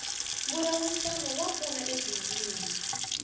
mbulavurisano wa pfuna ebindzwini